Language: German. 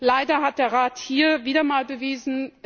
Leider hat der Rat hier wieder einmal bewiesen.